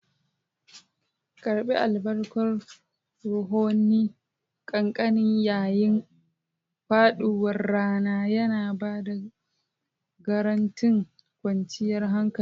Karɓi albarkan ruhohin kakanni yayin faɗuwar rana, yana ba da garantin kwanciyar hankali.